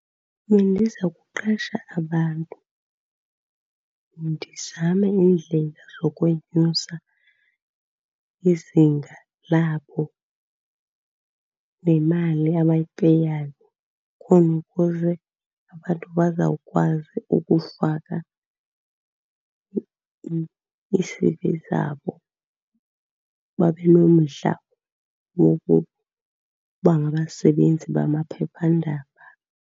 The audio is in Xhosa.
Bendiza kuqesha abantu. Ndizame iindlela zokwenyusa izinga labo nemali abayipeyayo khona ukuze abantu bazawukwazi ukufaka ii-C_V zabo, babe nomdla wokuba ngabasebenzi bamaphephandaba.